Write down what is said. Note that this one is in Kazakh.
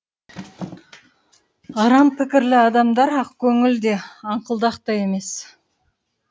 арам пікірлі адамдар ақкөңіл де аңқылдақ та емес